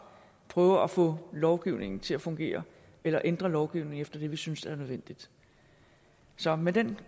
prøver at få lovgivningen til at fungere eller ændre lovgivningen efter det vi synes er nødvendigt så med den